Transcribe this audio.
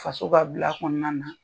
Faso ka bila kɔnɔna na